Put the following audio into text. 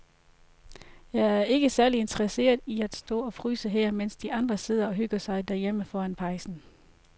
Jeg er ikke særlig interesseret i at stå og fryse her, mens de andre sidder og hygger sig derhjemme foran pejsen.